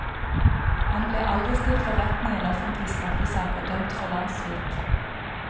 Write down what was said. Han ble aldri stilt for retten i en offentlig straffesak og dømt for landssvik.